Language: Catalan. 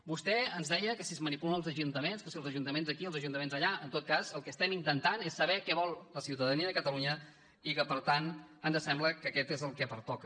vostè ens deia que si es manipulen els ajuntaments que si els ajuntaments aquí els ajuntaments allà en tot cas el que estem intentant és saber què vol la ciutadania de catalunya i que per tant ens sembla que aquest és el que pertoca